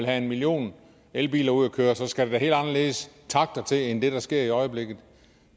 have en million elbiler ud at køre så skal der da helt anderledes takter til end det der sker i øjeblikket